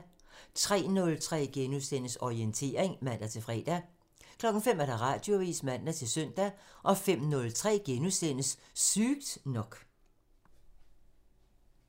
03:03: Orientering *(man-fre) 05:00: Radioavisen (man-søn) 05:03: Sygt nok *(man)